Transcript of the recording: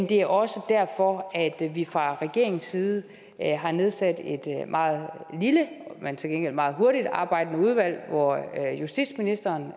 det er også derfor at vi fra regeringens side har nedsat et meget lille men til gengæld meget hurtigtarbejdende udvalg hvor justitsministeren